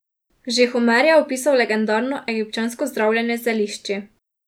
Že Homer je opisal legendarno egipčansko zdravljenje z zelišči.